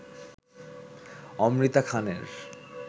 অমৃতা খানের